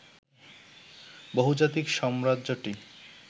বহুজাতিক সাম্রাজ্যটি